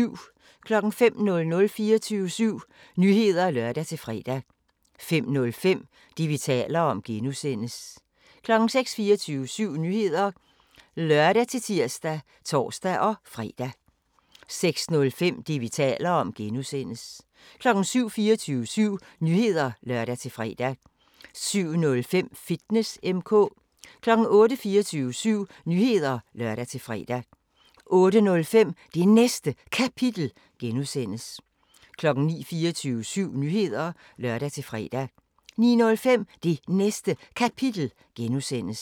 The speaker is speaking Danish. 05:00: 24syv Nyheder (lør-fre) 05:05: Det, vi taler om (G) 06:00: 24syv Nyheder (lør-tir og tor-fre) 06:05: Det, vi taler om (G) 07:00: 24syv Nyheder (lør-fre) 07:05: Fitness M/K 08:00: 24syv Nyheder (lør-fre) 08:05: Det Næste Kapitel (G) 09:00: 24syv Nyheder (lør-fre) 09:05: Det Næste Kapitel (G)